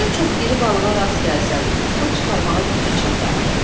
Birdən çox iri balığa rast gəlsən, tutub çıxarmağa gücün çatar?